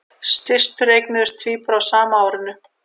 Systur eignuðust tvíbura á sama árinu